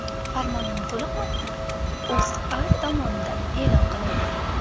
Farmonning to‘liq matni O‘zA tomonidan e’lon qilindi .